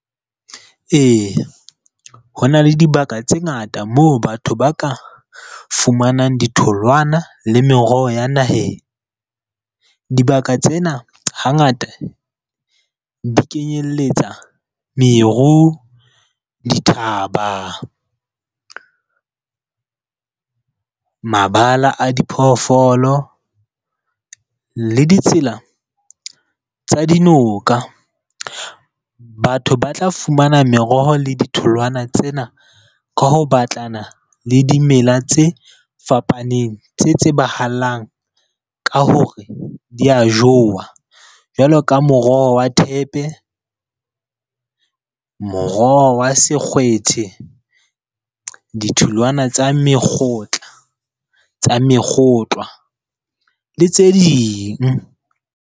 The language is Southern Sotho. Eya, ho na le dibaka tse ngata moo batho ba ka fumanang ditholwana le meroho ya naheng. Dibaka tsena hangata di kenyelletsa meru, dithaba, mabala a diphoofolo le ditsela tsa dinoka. Batho ba tla fumana meroho le ditholwana tsena ka ho batlana le dimela tse fapaneng, tse tsebahalang ka hore di a jowa. Jwalo ka moroho wa thepe, moroho wa sekgethwe, ditholwana tsa mekgotla, tsa mekgotlwa le tse ding.